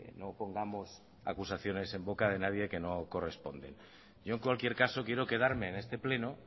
no pongamos acusaciones en boca de nadie que no corresponden yo en cualquier caso quiero quedarme en este pleno